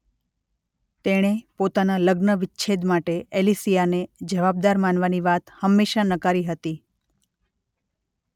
તેણે પોતાના લગ્ન વિચ્છેદ માટે એલિસિયાને જવાબદાર માનવાની વાત હંમેશા નકારી હતી.